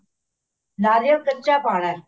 ਨਾਰੀਅਲ ਕੱਚਾ ਪਾਉਣਾ